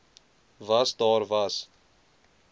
was daar was